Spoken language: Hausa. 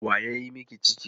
Wa ya yi miki ciki?